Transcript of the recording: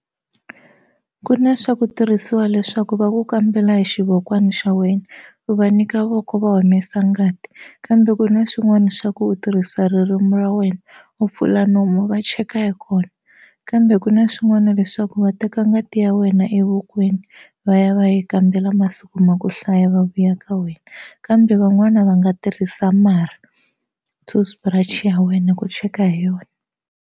Ku na swa ku tirhisiwa leswaku va ku kambela hi xivokwana xa wena u va nyika voko va humesa ngati kambe ku na xin'wana xa ku u tirhisa ririmi ra wena u pfula nomu va cheka hi kona kambe ku na xin'wana lexaku va teka ngati ya wena evokweni va ya va ya yi kambela masiku ma ku hlaya va vuya ka wena kambe van'wana va nga tirhisa marhi toothbrush ya wena ku cheka hi yona.